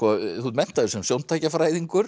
þú ert menntaður sem